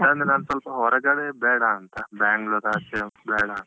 ಅದಂದ್ರೆ ನಾನ್ ಸ್ವಲ್ಪ ಹೊರಗಡೆ ಬೇಡಾಂತ. Bangalore ಆಚೆ ಬೇಡಾಂತ.